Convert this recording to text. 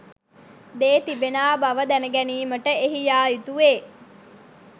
දේ තිබෙනා බව දැනගැනීමට එහි යායුතුවේ.